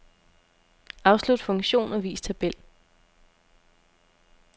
Afslut funktion og vis tabel.